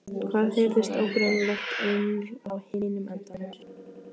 Það heyrist ógreinilegt uml á hinum endanum.